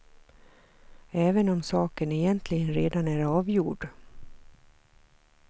Även om saken egentligen redan är avgjord.